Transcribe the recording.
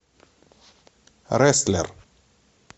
рестлер